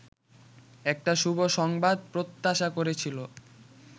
একটা শুভ সংবাদ প্রত্যাশা করেছিল